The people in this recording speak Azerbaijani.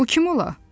Bu kim ola?